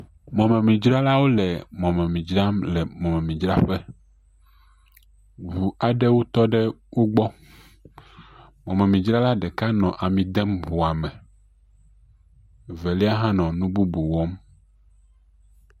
Mɔmidzralawo le mɔmemi dzram le mɔmemidzraƒe. Ŋu aɖewo tɔ ɖe wo gbɔ. Mɔmemidzrala ɖeka nɔ ami dem ŋua me. Velia hã nɔ nu bubu wɔm.